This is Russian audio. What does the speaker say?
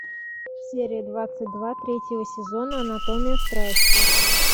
серия двадцать два третьего сезона анатомия страсти